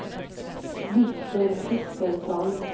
Viktor Kristensson